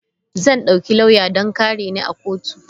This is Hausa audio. Zan dauki lauya don kare ni a kotu.